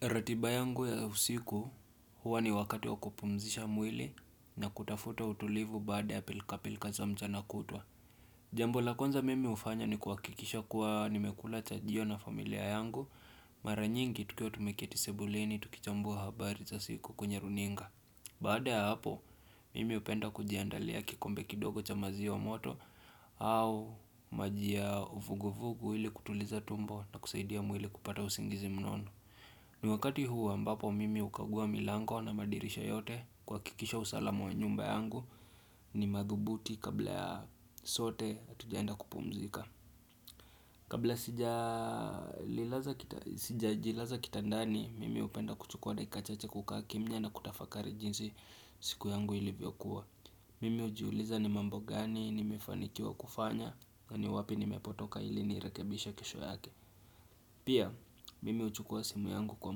Ratiba yangu ya usiku huwa ni wakati wa kupumzisha mwili na kutafuta utulivu baada ya pilka pilka za mchana kutwa. Jambo la kwanza mimi hufanya ni kuhakikisha kuwa nimekula chajio na familia yangu, mara nyingi tukiwa tumeketi sebuleni tukichambua habari za siku kwenye runinga. Baada ya hapo, mimi hupenda kujiandalia kikombe kidogo cha maziwa moto au maji ya uvugu uvugu ili kutuliza tumbo na kusaidia mwili kupata usingizi mnono. Ni wakati huu ambapo mimi hukagua milango na madirisha yote kuha kikisha usalama wa nyumba yangu ni madhubuti kabla sote hatujaenda kupumzika Kabla sija jilaza kitandani mimi hupenda kuchukua dakika chache kukaa kimnya na kutafakari jinsi siku yangu ilivyo kuwa Mimi hujiuliza ni mambo gani ni mefanikiwa kufanya naniwapi ni mepotoka ili ni rekebishe kesho yake Pia, mimi huchukua simu yangu kwa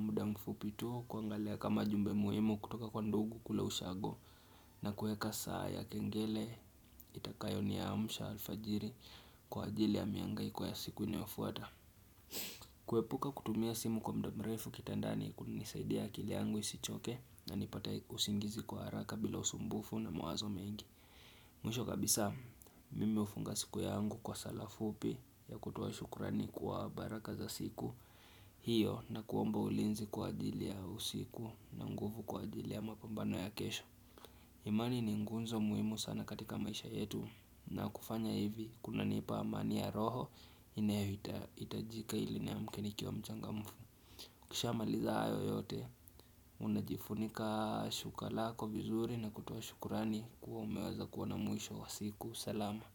muda mfupi tu kua ngalia kama jumbe muhimu kutoka kwa ndugu kule ushago na kuweka saa ya kengele itakayo ni amsha alfajiri kwa ajili ya mihangaiko ya siku inayofuata. Kuepuka kutumia simu kwa muda mrefu kitandani kuna nisaidia akili yangu isichoke na nipate usingizi kwa haraka bila usumbufu na mawazo mengi. Mwisho kabisa mimi hufunga siku yangu kwa sala fupi ya kutoa shukrani kwa baraka za siku hiyo na kuomba ulinzi kwa ajili ya usiku na nguvu kwa ajili ya mapambano ya kesho imani ni ngunzo muhimu sana katika maisha yetu na kufanya hivi kuna nipa amani ya roho inayohitajika ili niamke nikiwa mchangamfu Kisha maliza hayo yote, unajifunika shuka lako vizuri na kutoa shukrani kuwa umeweza kuwa na mwisho wa siku, salama.